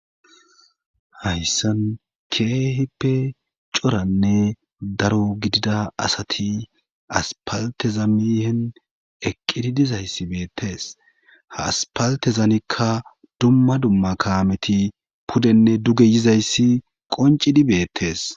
Hayssan keehippe coranne daro gidida asati aspaltezamihen eqqidi dizayssi beettes ha aspaltezamikka dumma dumma kaameti pudenne duge yizayssi qoncidi beettes.